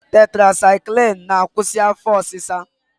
Tetrasaịklin na-akwụsị afọ ọsịsa.